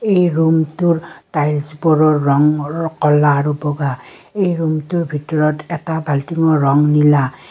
এই ৰুমটোৰ টাইলছ বোৰৰ ৰং ৰ কলা আৰু বগা এই ৰুমটোৰ ভিতৰত এটা বাল্টিঙৰ ৰং নীলা।